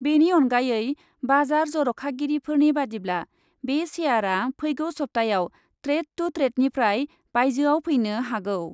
बेनि अनगायै बाजार जर'खागिरिफोरनि बादिब्ला, बे शेयारआ फैगौ सप्ताहआव ट्रेड टु ट्रेडनिफ्राय बाइजोआव फैनो हागौ ।